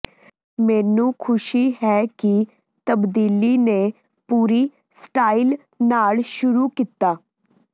ਮੈਨੂੰ ਖੁਸ਼ੀ ਹੈ ਕਿ ਤਬਦੀਲੀ ਨੇ ਪੂਰੀ ਸਟਾਈਲ ਨਾਲ ਸ਼ੁਰੂ ਕੀਤਾ